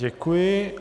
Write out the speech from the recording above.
Děkuji.